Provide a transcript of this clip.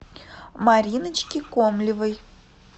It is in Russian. мариночки комлевой